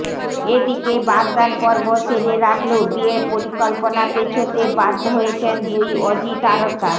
এদিকে বাগদান পর্ব সেরে রাখলেও বিয়ের পরিকল্পনা পেছোতে বাধ্য হয়েছেন দুই অজি তারকা